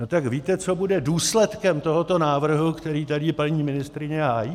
No, tak víte, co bude důsledkem tohoto návrhu, který tady paní ministryně hájí?